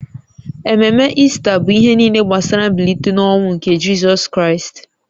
Ememe Ista bụ ihe niile gbasara mbilite n’ọnwụ nke Jizọs Kraịst